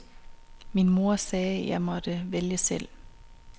Min mor sagde jeg måtte vælge selv.